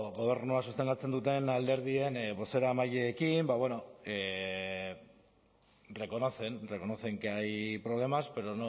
gobernua sostengatzen duten alderdien bozeramaileekin ba bueno reconocen reconocen que hay problemas pero